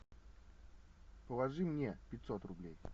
положи мне пятьсот рублей